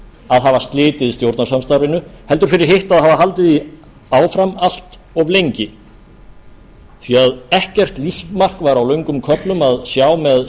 að hafa slitið stjórnarsamstarfinu heldur fyrir hitt að hafa haldið því áfram allt of lengi því að ekkert lífsmark var á löngum köflum að sjá með